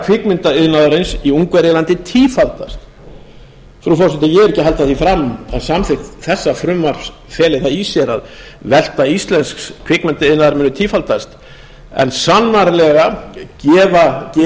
kvikmyndaiðnaðarins í ungverjalandi tífaldast frú forseti ég er ekki að halda því fram að samþykkt þessa frumvarp feli það í sér að velta íslensks kvikmyndaiðnaðar muni tífaldast en sannarlega gefur